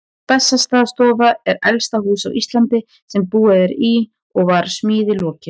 Bessastaðastofa er elsta hús á Íslandi sem búið er í og var smíði lokið